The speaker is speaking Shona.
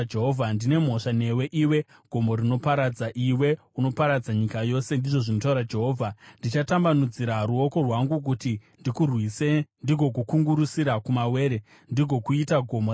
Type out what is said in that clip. “Ndine mhosva newe, iwe gomo rinoparadza, iwe unoparadza nyika yose,” ndizvo zvinotaura Jehovha. “Ndichatambanudzira ruoko rwangu kuti ndikurwise, ndigokukungurusira kumawere, ndigokuita gomo rakatsva.